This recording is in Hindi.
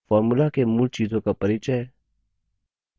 formula के मूल चीजों का परिचय